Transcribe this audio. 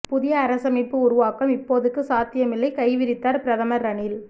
புதிய அரசமைப்பு உருவாக்கம் இப்போதைக்கு சாத்தியமில்லை கைவிரித்தார் பிரதமர் ரணில்